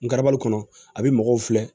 N karabali kɔnɔ a bɛ mɔgɔw filɛ